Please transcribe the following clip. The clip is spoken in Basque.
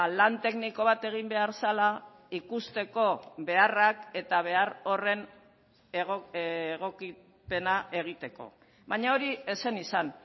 lan tekniko bat egin behar zela ikusteko beharrak eta behar horren egokipena egiteko baina hori ez zen izan